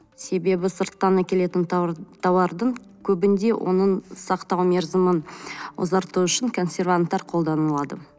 себебі сырттан әкелетін тауардың көбінде оның сақтау мерзімін ұзарту үшін консерванттар қолданылады